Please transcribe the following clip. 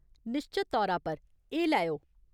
निश्चत तौरा पर, एह् लैओ।